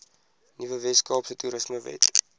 nuwe weskaapse toerismewet